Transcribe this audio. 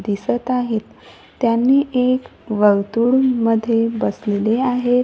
दिसत आहेत त्यांनी एक वर्तुळमध्ये बसलेले आहेत.